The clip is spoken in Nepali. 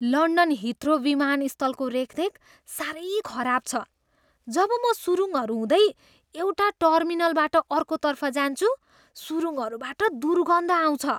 लन्डन हिथ्रो विमानस्थलको रेखदेख साह्रै खराब छ। जब म सुरुङ्गहरू हुँदै एउटा टर्मिनलबाट अर्कोतर्फ जान्छु, सुरुङ्गहरूबाट दुर्गन्ध आउँछ।